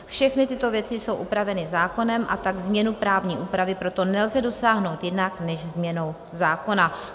Všechny tyto věci jsou upraveny zákonem, a tak změny právní úpravy proto nelze dosáhnout jinak než změnou zákona.